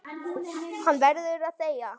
Hann verður að þegja.